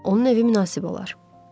Onun evi münasib olar.